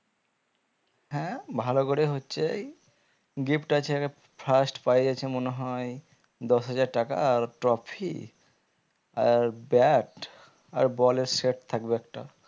হ্যাঁ ভালো করে হচ্ছেই gift আছে first prize আছে মনে হয় দশ হাজার টাকা আর trophy আর bat আর ball এর set থাকবে একটা